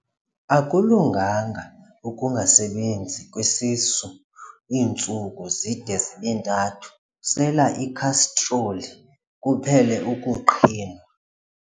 Akulunganga ukungasebenzi kwesisu iintsuku zide zibe ntathu, sela ikhastroli kuphele ukuqhinwa.